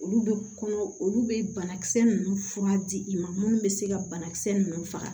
Olu bɛ kɔnɔ olu bɛ banakisɛ ninnu fura di i ma minnu bɛ se ka banakisɛ ninnu faga